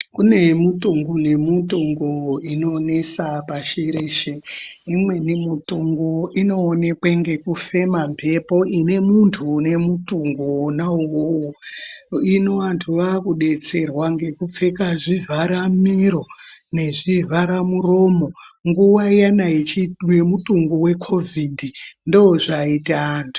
Kune mutungu nemutungu inonesa pashi reshe imweni mutungu inooneke ngekufema mbepo ine muntu une mutungu wona uwowo hino vantu vakudetserwa ngekupfeka zvivharamiro nezvivharamuromo, nguwa iyana yemutungu wekovhidhi ndozvaiita antu.